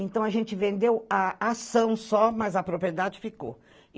Então a gente vendeu a ação só, mas a propriedade ficou.